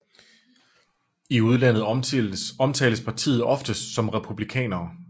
I udlandet omtales partiet oftest som Republikanerne